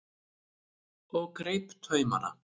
og greip taumana.